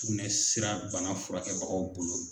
Sugunɛsira bana furakɛbagaw bolo.